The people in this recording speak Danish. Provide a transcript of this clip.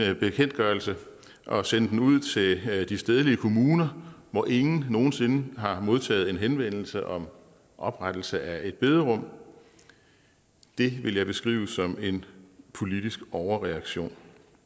en bekendtgørelse og sende den ud til de stedlige kommuner hvor ingen nogen sinde har modtaget en henvendelse om oprettelse af et bederum det ville jeg beskrive som en politisk overreaktion